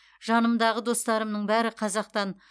жанымдағы достарымның бәрі қазақтан